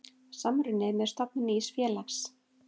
Samruni með stofnun nýs félags.